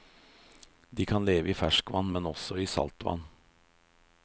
De kan leve i ferskvann, men også i saltvann.